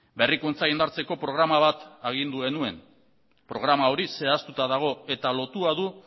berrikuntza indartzeko programa bat agindu genuen programa hori zehaztuta dago eta lotua du